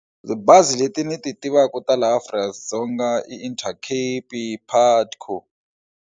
Bazi leti ndzi ti tivaka ta laha Afrika-Dzonga i Itercape, Putco.